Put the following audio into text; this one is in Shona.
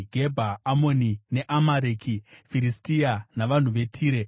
Gebha, Amoni neAmareki, Firistia, navanhu veTire.